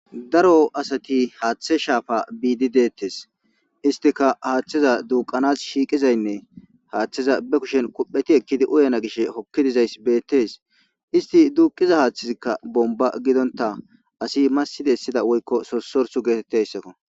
"Daro asati haathe shaafa biide detees istika haatheza duuqanas shiiqizaynne haatheza ba kushen kupheti ekkidi uyana gishe hokki dizayisi betees isiti duuqiza haathezika bonba giddonta asi massi besiza woyyko sossorsu getetizayisako."